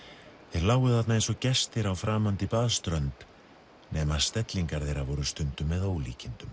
þeir lágu þarna eins og gestir á framandi baðströnd nema stellingar þeirra voru stundum með ólíkindum